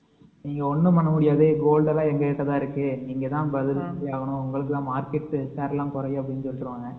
நீங்க ஒன்னும் சொல்லமுடியாது gold எல்லாம் எங்ககிட்ட தான் இருக்கு